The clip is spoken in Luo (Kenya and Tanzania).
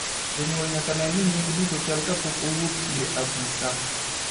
Janyuol nyaka nen ni nyinge duto chal ka pok owuok ir afisa